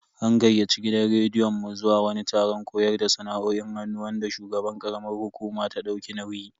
An gayyaci gidan rediyon mu zuwa wani taron koyar da sana'o'in hannu wanda shugaban karamar hukuma ta dauki nauyi.